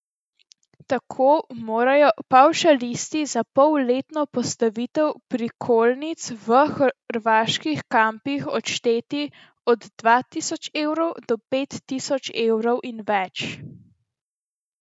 Tako morajo pavšalisti za polletno postavitev prikolic v hrvaških kampih odšteti od dva tisoč evrov do pet tisoč evrov in več.